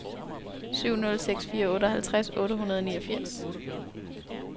syv nul seks fire otteoghalvtreds otte hundrede og niogfirs